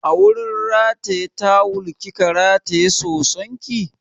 A wurin rataye tawal kika rataye soson ki?